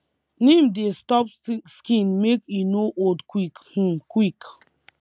neem dey stop skin make e no old quick um quick